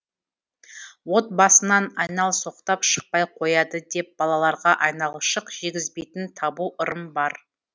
отбасынан айналсоқтап шықпай қояды деп балаларға айналшық жегізбейтін табу ырым бар